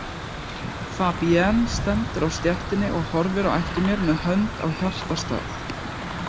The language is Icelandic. Fabienne stendur á stéttinni og horfir á eftir mér með hönd á hjartastað.